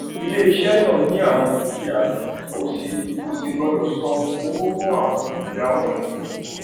iléiṣẹ náà ní àwon dúkìá ó sì ó sì gbọdọ san owó fún àwọn dúkìá wọnyí